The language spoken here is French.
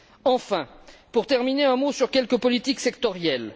Enfin, pour terminer, un mot sur quelques politiques sectorielles.